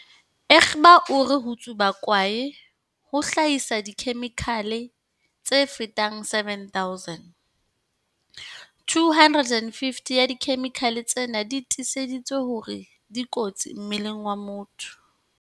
Egbe o re ho tsuba kwae ho hlahisa dikhe-mikhale tse fetang 7 000, 250 ya dikhemikhale tsena di tiiseditswe hore di kotsi mmeleng wa motho.